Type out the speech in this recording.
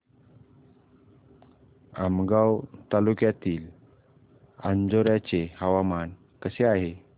आमगाव तालुक्यातील अंजोर्याचे हवामान कसे आहे